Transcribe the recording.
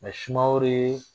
Nga sumaworo ye